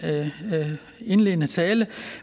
indledende tale